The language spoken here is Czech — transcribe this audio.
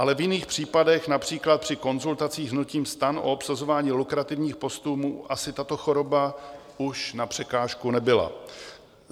Ale v jiných případech, například při konzultacích hnutím STAN o obsazování lukrativních postů, mu tato choroba už na překážku nebyla.